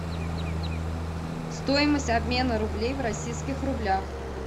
стоимость обмена рублей в российских рублях